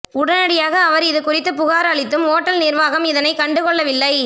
உடனடியாக அவர் இதுகுறித்து புகார் அளித்தும் ஓட்டல் நிர்வாகம் இதனை கண்டுகொள்ளவில்லை